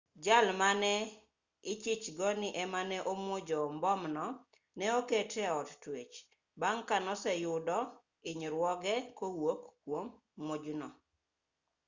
jal mane ichich go ni ema ne omuojo mbomno ne oketi e od twech bang' ka noseyudo hinyruoge kowuok kwom muojno